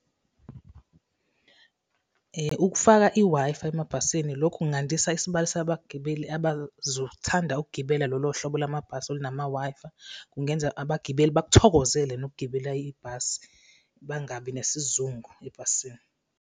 Ukufaka i-Wi-Fi emabhasini, lokhu kungandisa isibalo sabagibeli abazothanda ukugibela lolo hlobo lamabhasi olunama-Wi-Fi. Kungenza abagibeli bakuthokozele nokugibela ibhasi, bangabi nesizungu ebhasini.